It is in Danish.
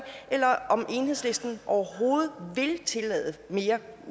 eller om enhedslisten overhovedet vil tillade mere